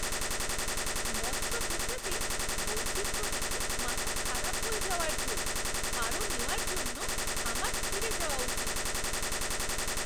মৎস্য বুফে তে বৈচিত্র্য দেখে মাথা খারাপ হয়ে যাওয়ার জো! আরও নেওয়ার জন্য আমার ফিরে যাওয়া উচিত।